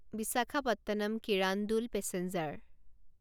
Visakhapatnam Kirandul passenger